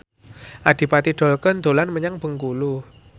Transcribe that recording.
Adipati Dolken dolan menyang Bengkulu